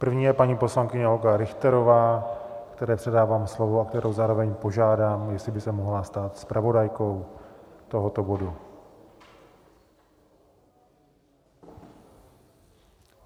První je paní poslankyně Olga Richterová, které předávám slovo a kterou zároveň požádám, jestli by se mohla stát zpravodajkou tohoto bodu.